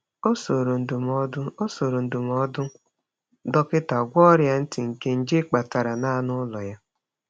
Ọ soro ndụmọdụ Ọ soro ndụmọdụ dọkịta gwọọ ọrịa ntị nke nje kpatara na anụ ụlọ ya.